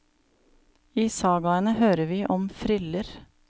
I sagaene hører vi om friller.